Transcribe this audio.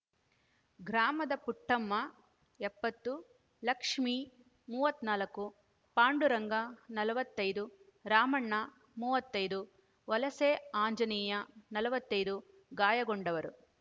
ಗ್ರಾಮದ ಪುಟ್ಟಮ್ಮ ಎಪ್ಪತ್ತು ಲಕ್ಷ್ಮಿ ಮೂವತ್ತ್ ನಾಲ್ಕು ಪಾಡುರಂಗ ನಲವತ್ತೈದು ರಾಮಣ್ಣ ಮೂವತ್ತೈದು ವಲಸೆ ಆಂಜನೇಯ ನಲವತ್ತೈದು ಗಾಯಗೊಂಡವರು